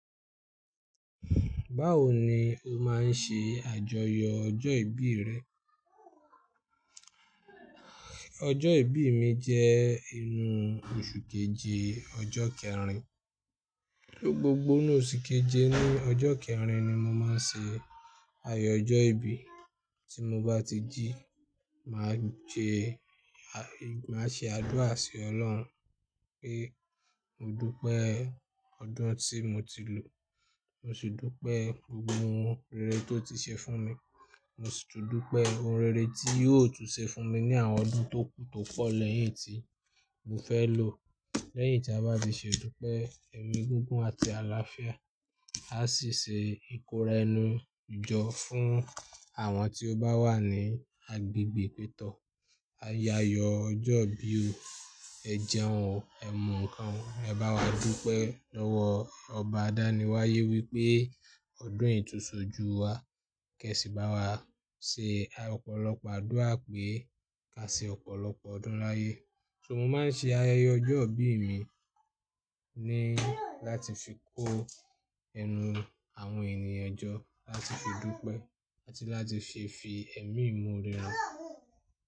Báwo ni o máa ń ṣe àjọyọ̀ ọjọ́ ìbí rẹ? Ọjọ́ ìbí mi jẹ́ inú oṣù keje ọjọ́ kẹrin. Ni gbogbo inú oṣù keje ní ọjọ́ kẹrin ni mo máa ń ṣe ayẹyẹ ọjọ́ ìbí. Tí mo bá ti jí, màá jẹ, màá ṣe àdúrà sí Ọlọ́run pé mo dúpẹ́ ọdún tí mo ti lò, mo sì dúpẹ́ gbogbo ohun rere tó ti ṣe fún mi, mo sì tún dúpẹ́ ohun rere tí yóò tún ṣe fún mi ní àwọn ọdún tó kù tó po lẹ́yìn tí mo fẹ́ lò. Lẹ́yìn tí a bá ti ṣe idúpẹ́, ẹ̀mí gígùn àti àlàáfíà, a sì ṣe ìkóra ẹnu jọ fún àwọn tí ó bá wà ní agbègbè pè tọ́. A yayọ ọjọ́ ibí o, ẹ jẹun, ẹ mu ǹkan, ẹ bá wa dúpẹ́ lọ́wọ́ ọba àdániwáyé wí pé ọdún yi túnsọ̀ ju wa kẹ sí bá wa ṣe ọ̀pọ̀lọpọ̀ àdúrà pé ka ṣe ọ̀pọ̀lọpọ̀ ọdún láyé. So mo máa ń ṣe ayẹyẹ ọjọ́ ìbí mi ni láti fi kó ẹnu àwọn ènìyàn jọ, láti fi dúpẹ́ àti láti se fi ẹ̀mí imore han.